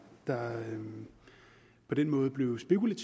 der på den måde blev spekuleret